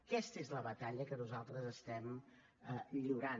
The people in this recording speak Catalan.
aquesta és la batalla que nosaltres estem lliurant